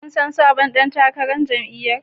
Kun san sabon dan takarar jam'iyyar